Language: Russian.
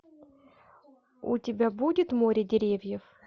у тебя будет море деревьев